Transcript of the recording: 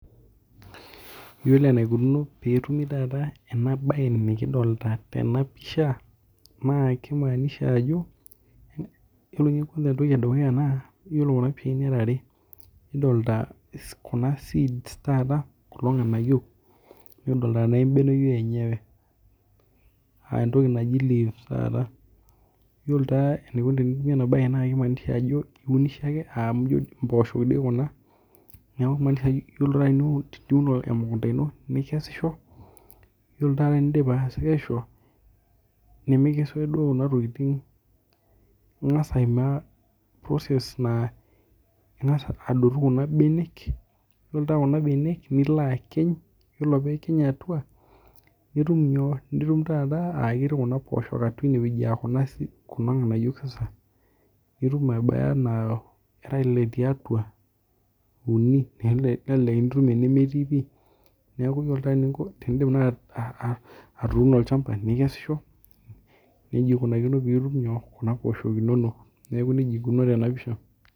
Yiolo enaikunono petumi taata enabae nikidolta tenapisha na kimaanisha ajo iyiolo oshi entoki edukuya ja iyolo kuna pishai are kidolta kuna seeds taata kulo nganayio nikidolta na embeneyio enyewe aa entoki naji leaves iunisho ake amu mpoosho kuna yiolo ake piun emukunda ino nikesisho ore piindip atekesisho ningasa aimaa process na ingasa adumu kuna benek, ore pilo akiny atua nitum nyoo nitum ateyiara kuna poosho aa kulo nganayio nitum naa era ile tiatua, nitum uni nelo nitum enemetii neaku yiolo nai eninko teniun nai olchamba nikesisho nejia ikunakino peitum kuna pishai inonok.